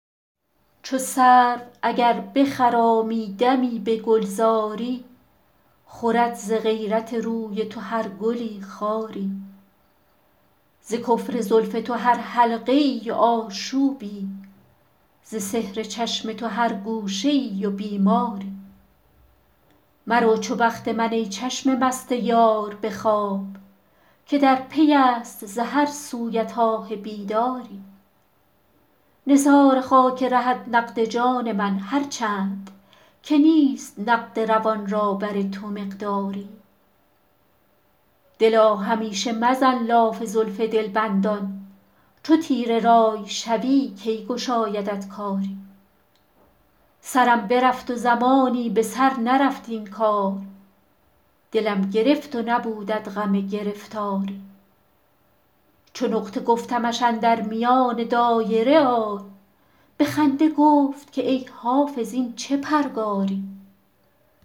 چو سرو اگر بخرامی دمی به گلزاری خورد ز غیرت روی تو هر گلی خاری ز کفر زلف تو هر حلقه ای و آشوبی ز سحر چشم تو هر گوشه ای و بیماری مرو چو بخت من ای چشم مست یار به خواب که در پی است ز هر سویت آه بیداری نثار خاک رهت نقد جان من هر چند که نیست نقد روان را بر تو مقداری دلا همیشه مزن لاف زلف دلبندان چو تیره رأی شوی کی گشایدت کاری سرم برفت و زمانی به سر نرفت این کار دلم گرفت و نبودت غم گرفتاری چو نقطه گفتمش اندر میان دایره آی به خنده گفت که ای حافظ این چه پرگاری